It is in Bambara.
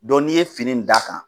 Dɔn n'i ye fini d'a kan